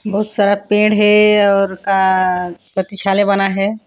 बहुत सारा पेड़ हे और का प्रतीक्षालय बना है।